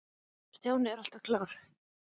Stjáni er alltaf klár.